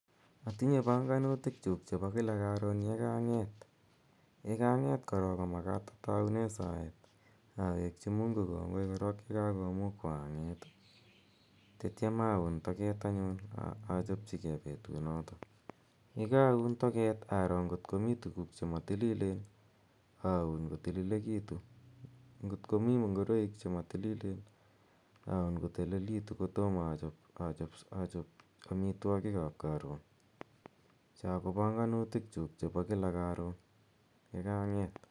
Atinye bongonutikyuk chebo kila koron yekanget, yekanget korong komakat otounen saet ak awekyi Mungu kongoi korong yekakomukwan anget ii ,ak itiong oun toket anyun ochopji gee betunoton ,yekoun toket aroo ngot komi tuguk chemotililen oun kotililekitun ngot komi ngoroik chemotililen oun kotililekitun kotomo ochop omitwokikab koron chon kobongonutikyuk chebo wiki yekanget.